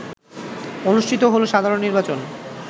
অনুষ্ঠিত হল সাধারণ নির্বাচন